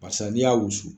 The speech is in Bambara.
Barisa n'i y'a wusu